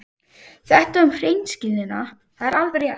Þetta um hreinskilnina, það er alveg rétt.